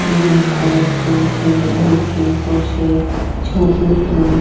এবং কয়েকজন ছেলে নিচে বসে ছবি তুল--